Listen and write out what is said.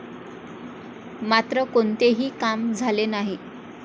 मात्र कोणतेही काम झाले नाही.